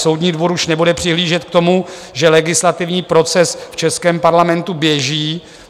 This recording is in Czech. Soudní dvůr už nebude přihlížet k tomu, že legislativní proces v českém Parlamentu běží.